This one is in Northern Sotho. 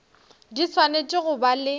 di swanetše go ba le